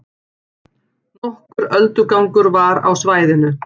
Nokkur öldugangur var á svæðinu